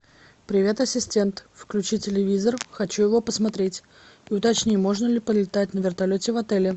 привет ассистент включи телевизор хочу его посмотреть уточни можно ли полетать на вертолете в отеле